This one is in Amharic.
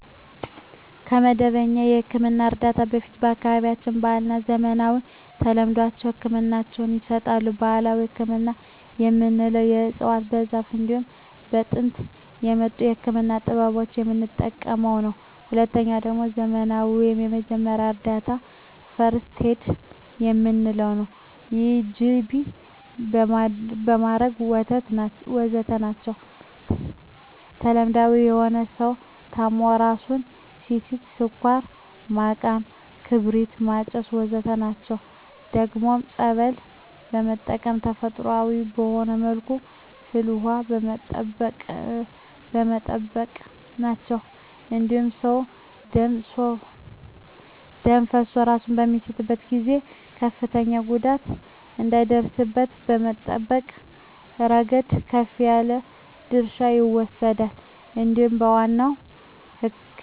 ከመደበኛ የሕክምና እርዳታ በፊት በአካባቢያችን ባህለዊ፣ ዘመናዊና ተለምዷዊ ህክምናወች ይሰጣሉ። ባህላዊ ህክምና የምንለዉ በእፅዋት በዛር እንዲሁም ከጥንት በመጡ የህክምና ጥበቦች የምንጠቀመዉ ነዉ። ሁለተኛዉ ደግሞ ዘመናዊ ወይም የመጀመሪያ እርዳታ(ፈርክት ኤድ) የምንለዉ ነዉ ይህም ጅቢ ማድረግ ወዘተ ናቸዉ። ተለምዳዊ የሆኑት ሰዉ ታሞ እራሱን ሲስት ስኳር ማቃም ክርቢት ማጨስ ወዘተ ናቸዉ። ደግሞም ፀበል በመጠመቅ ተፈጥሮአዊ በሆነ መልኩ ፍል ዉሃ በመጠቀም ናቸዉ። ይህም ሰዉ ደም ፈሶት እራሱን በሚስትበት ጊዜ ከፍተኛ ጉዳት እንዳይደርስበት ከመጠበቅ እረገድ ከፍ ያለ ድርሻ ይወስዳል እንዲሁም ለዋናዉ ህክምና የመጀመሪያ እርዳታ ከፍተኛ ጥቅም አለዉ።